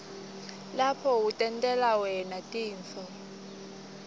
lapho utentela wna tinifo